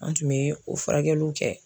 An tun bɛ o furakɛliw kɛ.